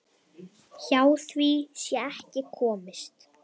Hjá því sé ekki komist.